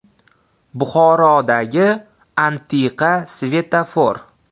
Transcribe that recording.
Buxorodagi antiqa svetofor.